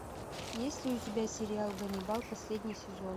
есть ли у тебя сериал ганнибал последний сезон